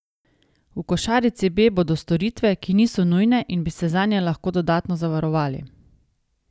V košarici B bodo storitve, ki niso nujne in bi se zanje lahko dodatno zavarovali.